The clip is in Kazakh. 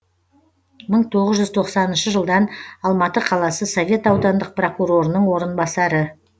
мың тоғыз жүз тоқсаныншы жылдан алматы қаласы совет аудандық прокурорының орынбасары